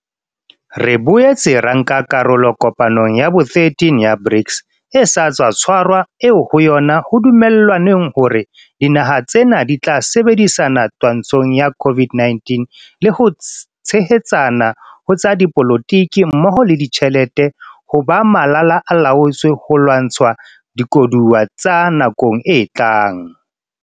Re boetse ra nka karolo kopanong ya bo 13 ya BRICS e sa tswa tshwarwa eo ho yona ho dumellanweng hore dinaha tsena di tla sebedisana twantshong ya COVID-19 le ho tshehetsana ho tsa dipolo tiki mmoho le ditjhelete ho ba malala-a-laotswe ho lwantsha dikoduwa tsa nakong e tlang.